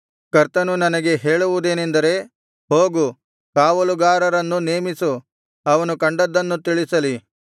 ಕರ್ತನು ನನಗೆ ಹೇಳುವುದೇನೆಂದರೆ ಹೋಗು ಕಾವಲುಗಾರನನ್ನು ನೇಮಿಸು ಅವನು ಕಂಡದ್ದನ್ನು ತಿಳಿಸಲಿ